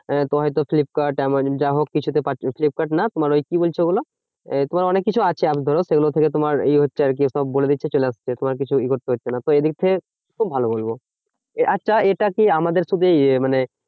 আহ হয়তো Flipkart Amazon যাহোক কিছু তে পাচ্ছো। ফ্লিপকার্ড না তোমার ওই বলছে ওগুলো? এই তোমার অনেককিছু আছে আর ধরো সেগুলো থেকে তোমার এই হচ্ছে আরকি সব বলে দিচ্ছে চলে আসছে। তোমাকে কিছু এ করতে হচ্ছে না। তো এদিক থেকে খুব ভালো বলবো। আচ্ছা এটা কি? আমাদের শুধু ইয়ে মানে